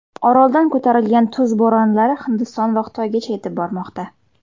Oroldan ko‘tarilgan tuz bo‘ronlari Hindiston va Xitoygacha yetib bormoqda.